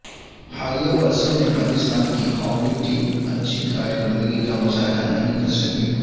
حالیہ برسوں میں پاکستان کی ہاکی ٹیم اچھی کارکردگی کا مظاہرہ نہیں کرسکی